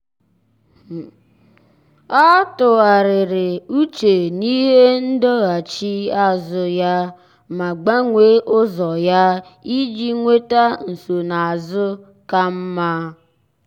ọ́ tụ́ghàrị̀rị̀ úchè n’íhé ndọghachi azụ ya ma gbanwee ụ́zọ́ ya iji nwéta nsonaazụ ka mma. mma.